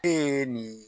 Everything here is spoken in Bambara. E ni